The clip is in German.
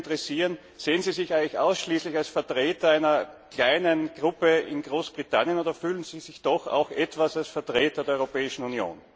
Mich würde interessieren Sehen Sie sich eigentlich ausschließlich als Vertreter einer kleinen Gruppe in Großbritannien oder fühlen Sie sich doch etwas als Vertreter der Europäischen Union?